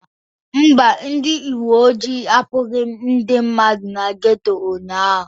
Mba, ndị uwe ojii akpụghị ndị mmadụ na geto ụnyaahụ.